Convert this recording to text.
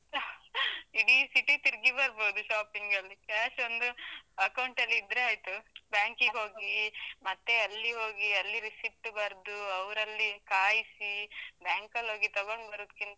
ಇಡೀ city ತಿರುಗಿ ಬರ್ಬೋದು shopping ಗಲ್ಲಿ, cash ಒಂದು account ಅಲ್ಲಿ ಇದ್ರೆ ಆಯ್ತು, ಬ್ಯಾಂಕಿಗೆ ಹೋಗಿ ಮತ್ತೆ ಅಲ್ಲಿ ಹೋಗಿ, ಅಲ್ಲಿ receipt ಬರ್ದು, ಅವರಲ್ಲಿ ಕಾಯಿಸಿ, ಬ್ಯಾಂಕಲ್ಲೋಗಿ ತಗೊಂಡು ಬರೂದ್ಕಿಂತ.